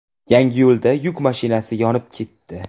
Yangiyo‘lda yuk mashinasi yonib ketdi.